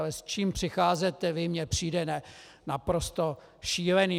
Ale s čím přicházíte vy, mi přijde naprosto šílené!